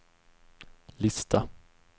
lista